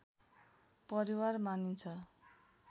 परिवार मानिन्छ